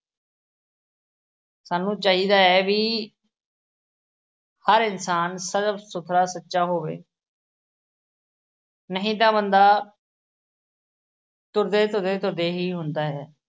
ਸਾਨੂੰ ਚਾਹੀਦਾ ਐ ਵੀ, ਹਰ ਇਨਸਾਨ ਸੱਚਾ ਹੋਵੇ। ਨਹੀਂ ਤਾਂ ਬੰਦਾ ਤੁਰਦੇ ਤੁਰਦੇ ਤੁਰਦੇ ਹੀ ਹੁੰਦਾ ਹੈ।